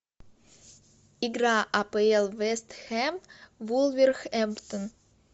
игра апл вест хэм вулверхэмптон